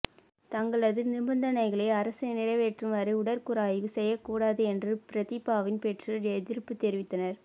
தங்களது நிபந்தனைகளை அரசு நிறைவேற்றும் வரை உடற்கூறாய்வு செய்யக் கூடாது என்று பிரதீபாவின் பெற்றோர் எதிர்ப்பு தெரிவித்தனர்